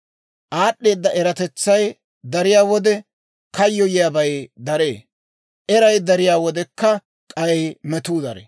Aad'd'eeda eratetsay dariyaa wode kayyoyiiyaabay daree; eray dariyaa wodekka k'ay metuu daree.